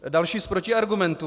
Další z protiargumentů.